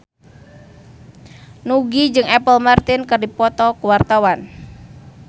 Nugie jeung Apple Martin keur dipoto ku wartawan